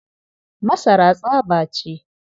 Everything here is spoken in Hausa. Masara tsaba ce.